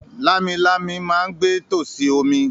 “Lámilámi” ma ń gbé tòsí omi.